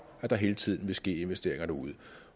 at der hele tiden vil ske investeringer derude